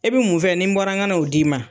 E bɛ mun fɛ ni n bɔra n ga na o di'i ma.